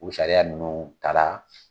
O sariya nunnu ta la.